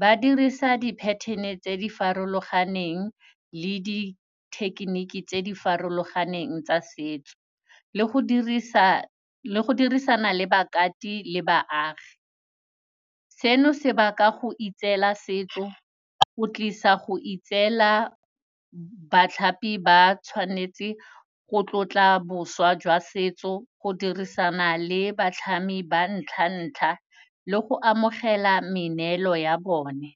Ba dirisa di-pattern-e tse di farologaneng le di-technique tse di farologaneng tsa setso, le go dirisa, go dirisana le bakati le baagi. Seno se baka go itseela setso, o tlisa go itseela batlhapi ba tshwanetse go tlotla boswa jwa setso go dirisana le batlhami ba ntlha-ntlha le go amogela meneelo ya bone.